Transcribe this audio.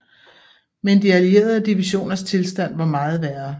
Men de allierede divisioners tilstand var meget værre